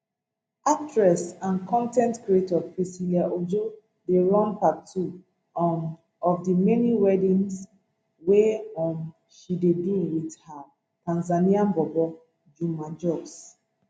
actress and con ten t creator priscilla ojo dey run part two um of di many weddings wey um she dey do wit her tanzanian bobo juma jux